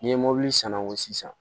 N'i ye mobili san ko sisan